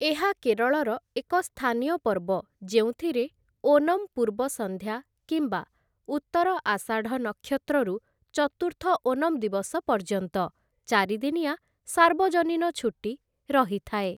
ଏହା କେରଳର ଏକ ସ୍ଥାନୀୟ ପର୍ବ ଯେଉଁଥିରେ ଓନମ୍ ପୂର୍ବ ସନ୍ଧ୍ୟା କିମ୍ବା ଉତ୍ତର ଆଷାଢ଼ ନକ୍ଷତ୍ରରୁ ଚତୁର୍ଥ ଓଣମ୍ ଦିବସ ପର୍ଯ୍ୟନ୍ତ ଚାରିଦିନିଆ ସାର୍ବଜନୀନ ଛୁଟି ରହିଥାଏ ।